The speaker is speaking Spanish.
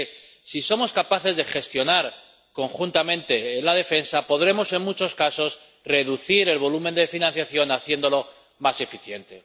Porque si somos capaces de gestionar conjuntamente la defensa podremos, en muchos casos, reducir el volumen de financiación, haciéndolo más eficiente.